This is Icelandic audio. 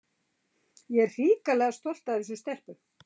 En ég er hrikalega stolt af þessum stelpum.